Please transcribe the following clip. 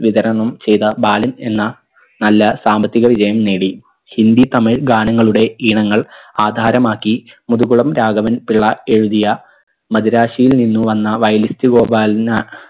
വിതരണം ചെയ്ത ബാലൻ എന്ന നല്ല സാമ്പത്തിക വിജയം നേടി ഹിന്ദി തമിൾ ഗാനങ്ങളുടെ ഈണങ്ങൾ ആധാരമാക്കി മുതുകുളം രാഘവൻ പിള്ള എഴുതിയ മദിരാശിയിൽ നിന്ന് വന്ന violenist ഗോപാലന